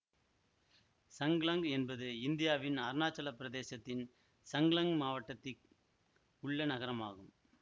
சங்லங் என்பது இந்தியாவின் அருணாச்சலப் பிரதேசத்தின் சங்லங் மாவட்டத்திக் உள்ள நகரம்